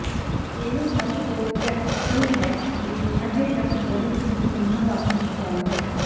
ਇਹ ਸਭ ਤੋਂ ਪ੍ਰੈਕਟੀਕਲ ਹੈ ਅਤੇ ਅਜੇ ਤੱਕ ਬਹੁਤ ਹੀ ਸੋਹਣਾ ਬਾਸਕਟਬਾਲ ਹੈ